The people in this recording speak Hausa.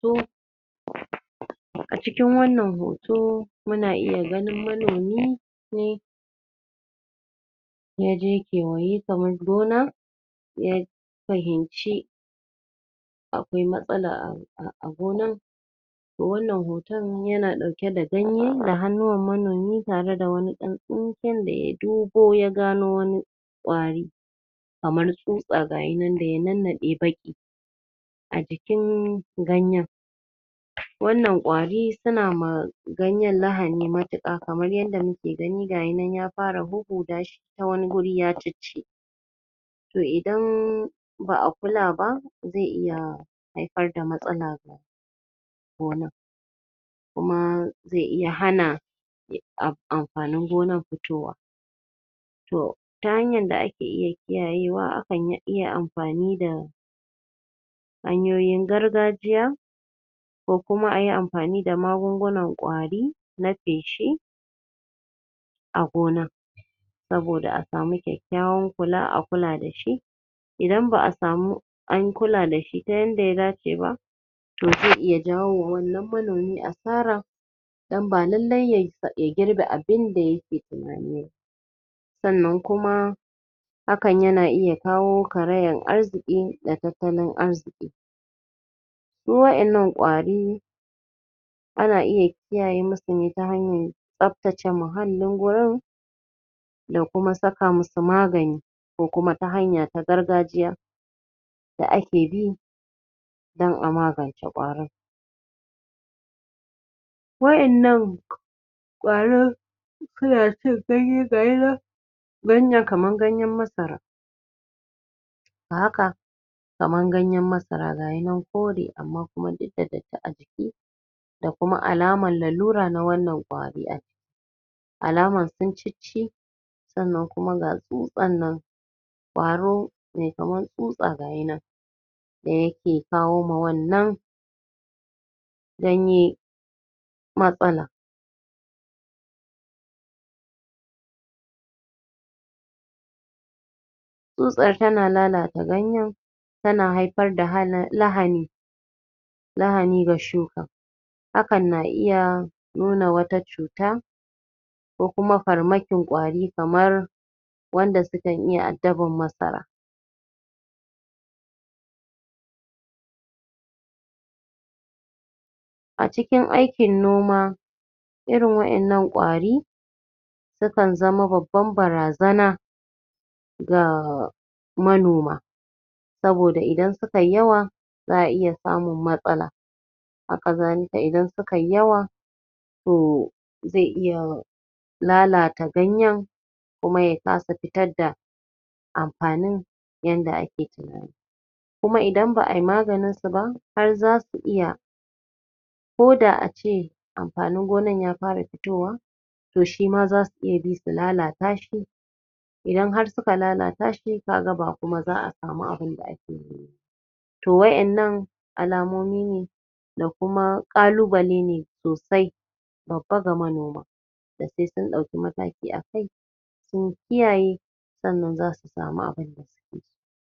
A cikin wannan hoto muna iya ganin manomi ne ya je kewaye kamar gona ya fahimci akawai matasala a gonar to wannan hoton yana ɗauke da ganye da hannunwan manomi tare da wani ɗan tsinken da ya dubo ya gano wani ƙwari kamar tsutsa ga ya nan da ya nannaɗe baƙi. a jikin ganyen wannan ƙwari suna ma ganyen lahani matuƙa kamar yadda muka gani ga yannan ya fara huhhuda shi ta wani guri ya cicci to idan ba a kula ba zai iya haifar da matsala wa gonar kuma zai iya hana amfanin gonan fitowa. to ta hanyar da ake iy kiyayewa a kan iya amfani da hanyoyin gargajiya ko kuma ayi amfani da magungunan ƙwari na feshi a gona saboda a samu kyakkyawan kula a kula da shi ida ba a samu an kula da shi ta yanda ya dace ba to zai ya jawo wa wannan manomi asara dan ba lallai ya girbe abinda yake tunani ba. sannan kuma hakan yana iya kawo karayan arziƙi da tattalin arziƙi. Su wa'inannan ƙwari ana iya kiyaye masu ne ta hanyar tsabtace muhallin gurin da kuma saka masu magani ko kuma ta hanya ta gargajiya da ake bi don a magance ƙwarin wa'innan ƙwarin suna cin ganye ga shi nan ganyen kamar ganyen masara a haka kamar ganyen masara ga ya nan kore amma duk da datti a jiki da kuma alamar lalura na wannan ƙwari ai alaman sun cicci sanna kuma ga tsutsar nan ƙwaro mai kamar tsutsa ga ya nan da yake kawo ma wannan ganye matsala tsutsa tana lalata ganyen tana haifar da halani lahani ga shukan hakan na iya nuna wata cuta ko kuma farmakin ƙwari kamar wanda sukan iya addaban masara a cikin aikin noma irin waɗannan ƙwari sukan zama babban barazana ga manoma saboda idan su kai yawa za a iya samun matsala. haka zalika idan sukai yawa to zai iya lalata ganyen kuma ya kasa fitar da amfanin yadda ake tunani, kuma idan ab ai maganinsu ba, har za su iya ko da a ce amfanin gonar ya fara fitowa to shi ma za su iya bi su lalata shi idan har suka lalata shi ka ga ba kuma za a sami abin da ake nema ba to wa'inanna alamomi ne da kuma ƙalubale ne sosai babba ga manoma da sai sun ɗauki mataki a kai, sun kiyaye sannan za su sami abin da suke so.